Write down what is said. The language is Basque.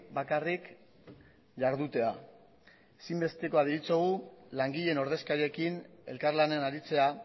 bakarrik ihardutea ezin bestekoa deritzogu langileen ordezkariekin elkarlanean aritzea